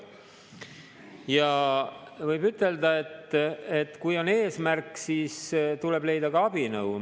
Ja võib ütelda, et kui on eesmärk, siis tuleb leida ka abinõu.